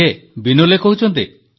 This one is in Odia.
କିଏ ବିନୋଲେ କହୁଛନ୍ତି